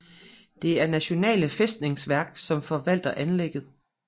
Det er Nasjonale Festningsverk som forvalter anlægget